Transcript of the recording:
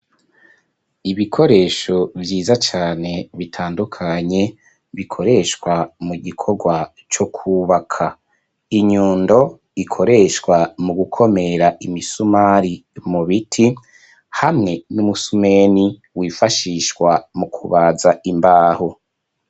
Ibikoresho vyiza cane bitandukanye bikoreshwa mu gikorwa co kwubaka inyundo ikoreshwa mu gukomera imisumari mu biti hamwe n'umusumeni wifashishwa mu kubaza imbahu.